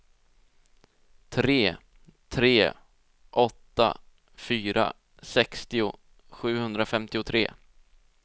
tre tre åtta fyra sextio sjuhundrafemtiotre